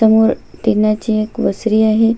समोर तेलाची एक वसरी आहे.